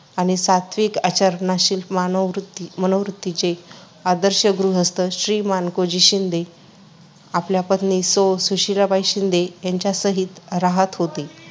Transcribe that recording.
आणि सात्विक आचरणाची मानववृत्ती मनोवृत्तीचे आदर्श गृहस्थ श्री मानकोजी शिंदे, आपल्या पत्नी सौ सुशीलाबाई शिंदे यांच्यासहित रहात होते.